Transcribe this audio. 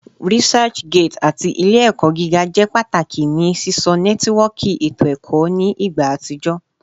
ResearchGate ati Ile-ẹkọ giga jẹ pataki ni sisọ nẹtiwọọki eto ẹkọ ni igba atijọ